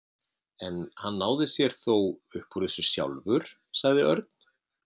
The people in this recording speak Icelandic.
En hann náði sér þó upp úr þessu sjálfur, sagði Örn.